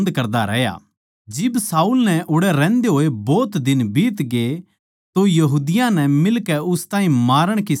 जिब शाऊल नै ओड़ै रहन्दे होए भोत दिन बीतगे तो यहूदियाँ नै मिलकै उस ताहीं मारण की साजस रची